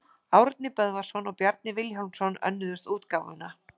Árni Böðvarsson og Bjarni Vilhjálmsson önnuðust útgáfuna.